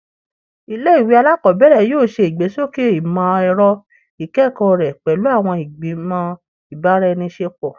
Ile-iwe alakọbẹrẹ yoo ṣe igbesoke imọ-ẹrọ ikẹkọ rẹ pẹlu awọn igbimọ ibaraenisepo